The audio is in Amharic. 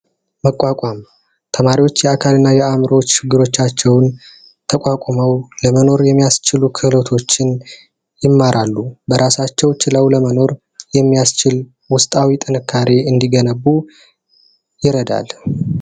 መቋቋም ተማሪዎች የአእምሮ እና የአካል ችግሮቻቸውን ተቋቁመው ለመኖር የሚያስችሉ ክህሎቶችን ይማራሉ። በራሳቸው ችለው ለመኖር የሚያስችል ውስጣዊ ጥንካሬ እንዲገነቡ ይረዳል።